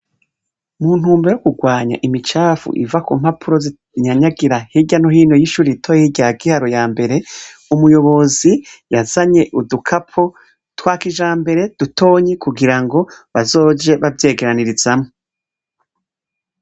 Muntumbero yo kurwanya imicafu iva kumpapuro zinyanyagira Hirya no hino yishure rya Giharo yambere. Umuyobozi yazanye udukapo twakijambere dutonyi kugirango bazoje bavyegeranirizamwo.